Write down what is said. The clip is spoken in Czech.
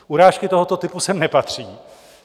Urážky tohoto typu sem nepatří.